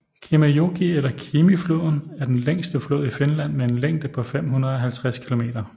Kemijoki eller Kemifloden er den længste flod i Finland med en længde på 550 km